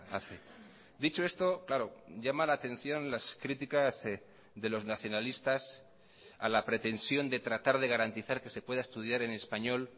hace dicho esto claro llama la atención las críticas de los nacionalistas a la pretensión de tratar de garantizar que se pueda estudiar en español